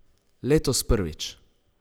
Letos prvič.